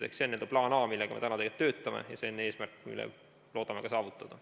See on n-ö plaan A, millega me täna töötame, ja see on eesmärk, mille me loodame ka saavutada.